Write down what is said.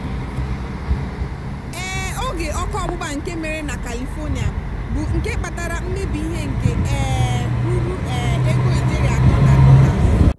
um oge óké ọ́kụ́ ọgbụgba nke mere na kalifonia bụ nke kpatara mmebi ihe nke um ruru um ego ijeri atọ na dolas.